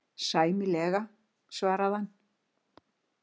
Sæmilega, svaraði hann.